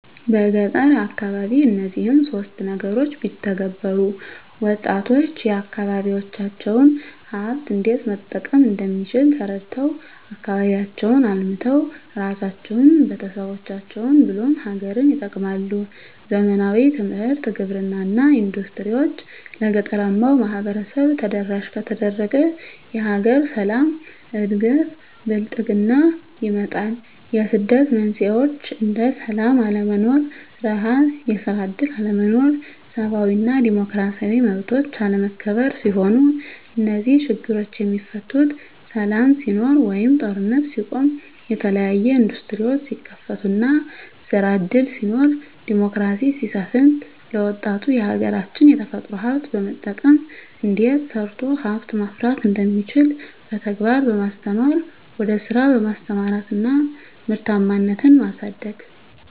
በገጠር አካባቢ እነዚህን ሶስት ነገሮች ቢተገበሩ -ወጣቶች የአካባቢዎቻቸውን ሀብት እንዴት መጠቀም እንደሚችል ተረድተው አካባቢያቸውን አልምተው እራሳቸውን፤ ቤተሰቦቻቸውን ብሎም ሀገርን ይጠቅማሉ። ዘመናዊ ትምህርት፤ ግብርና እና ኢንዱስትሪዎች ለገጠራማው ማህበረሰብ ተደራሽ ከተደረገ የሀገር ሰላም፤ እድገት እና ብልፅግና ይመጣል። የስደት መንስኤዎች እንደ ስላም አለመኖር፤ ርሀብ፤ የስራ እድል አለመኖር፤ ሰብአዊ እና ዲሞክራሲያዊ መብቶች አለመከበር ሲሆኑ -እነዚህ ችግሮች የሚፈቱት ሰላም ሲኖር ወይም ጦርነት ሲቆም፤ የተለያዬ እንዱስትሪዎች ሲከፈቱ እና ስራ እድል ሲኖር፤ ዲሞክራሲ ሲሰፍን፤ ለወጣቱ የሀገራች የተፈጥሮ ሀብት በመጠቀም እንዴት ተሰርቶ ሀብት ማፍራት እንደሚቻል በተግባር በማስተማር ወደ ስራ በማሰማራት እና ምርታማነትን ማሳደግ።